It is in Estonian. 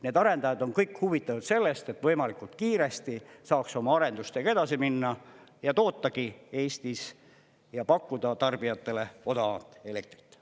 Need arendajad on kõik huvitatud sellest, et võimalikult kiiresti saaks oma arendustega edasi minna ja tootagi Eestis ja pakkuda tarbijatele odavamat elektrit.